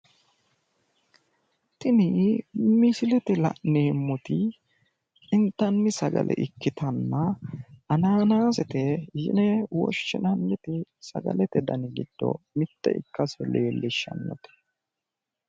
Tinni misillete la'neemoti intanni sagale ikkitanna hannannasete yine woshinnannite sagalete danni giddo mite ikkase leelishanote